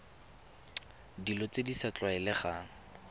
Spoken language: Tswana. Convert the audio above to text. dilo tse di sa tlwaelegang